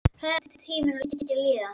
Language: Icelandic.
Hræðilega var tíminn lengi að líða.